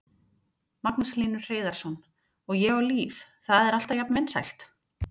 Magnús Hlynur Hreiðarsson: Og Ég á líf, það er alltaf jafn vinsælt?